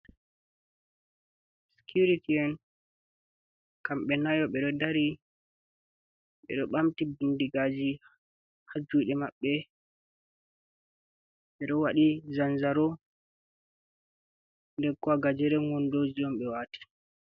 Sicuriti en kambe nayo bedo darri, bedo bamti bindigaji haj jude mabbe, bedo wadi zanzaro den bo gajeren wando be wati.